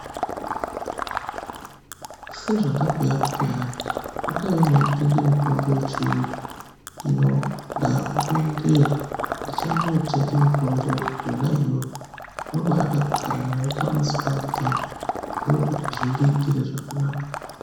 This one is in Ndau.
Sezvandabhuya kuti hayi, potaiwo mweitenge mitombo yechiyungu hino ndaakumboendeyo. Ndichambootenga mitombo yona iyoyo. Ndobaade kugara nayo pamuzi pangupo apa, ndookuti zvindiitire zvakanaka.